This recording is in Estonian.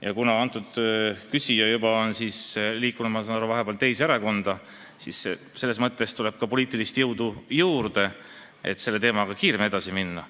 Ja kuna küsija ise on juba edasi liikunud teise erakonda, siis tuleb ka poliitilist jõudu juurde, et teemaga kiiremini edasi minna.